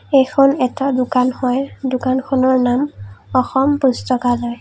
এইখন এটা দোকান হয় দোকানখনৰ নাম অসম পুস্তকালয়।